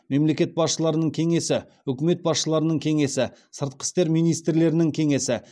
мемлекет басшыларының кеңесі үкімет басшыларының кеңесі сыртқы істер министрлерінің кеңесі